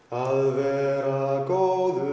að vera góður